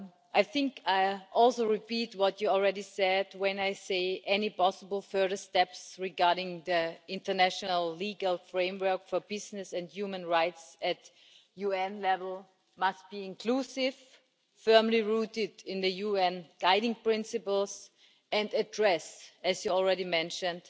I think I am also repeating what you have already said when I say that any possible further steps regarding the international legal framework for business and human rights at UN level must be inclusive, firmly rooted in the UN guiding principles, and address as you have already mentioned